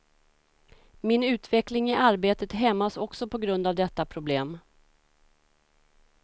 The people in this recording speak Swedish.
Min utveckling i arbetet hämmas också på grund av detta problem.